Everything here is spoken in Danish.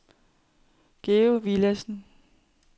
Georg Villadsen